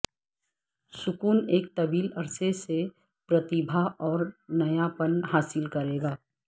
سکون ایک طویل عرصے سے پرتیبھا اور نیاپن حاصل کرے گا